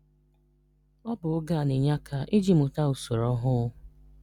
Ọ̀ bụ̀ ògé a na-ényè aka iji mụtà ụ̀sọ̀rò ọhụụ́